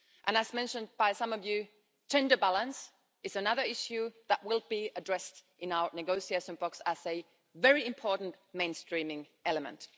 As mentioned by some of you, gender balance is another issue that will be addressed in our negotiations box as a very important mainstreaming element.